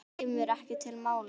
Það kemur ekki til mála.